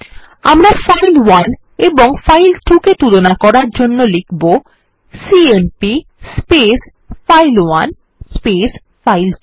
আমরা ফাইল1 এবং ফাইল2 কে তুলনা করার জন্য লিখব সিএমপি ফাইল1 ফাইল2